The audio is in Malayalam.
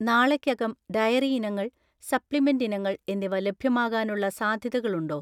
നാളെക്കകം ഡയറി ഇനങ്ങൾ, സപ്ലിമെന്റ് ഇനങ്ങൾ എന്നിവ ലഭ്യമാകാനുള്ള സാധ്യതകളുണ്ടോ?